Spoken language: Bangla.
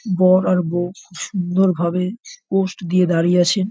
বর আর বউ খুব সুন্দরভাবে পোজ দিয়ে দাঁড়িয়ে আছে।